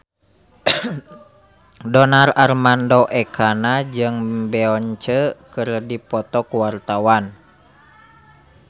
Donar Armando Ekana jeung Beyonce keur dipoto ku wartawan